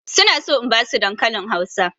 Su na so in ba su dankalin Hausa.